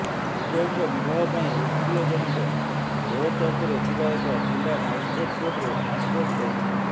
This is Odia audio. ଉଭୟଙ୍କ ବିବାହ ପାଇଁ ଓକିଲ ଜଣଙ୍କ ରୋହତକରେ ଥିବା ଏକ ଜିଲ୍ଲା ମାଜିଷ୍ଟ୍ରେଟ କୋର୍ଟରେ ଆପ୍ରୋଚ କରିଥିଲେ